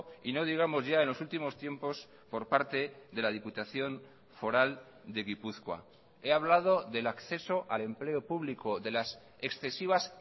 y no digamos ya en los últimos tiempos por parte de la diputación foral de gipuzkoa he hablado del acceso al empleo público de las excesivas